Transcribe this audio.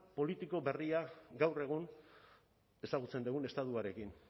politiko berria gaur egun ezagutzen dugun estatuarekin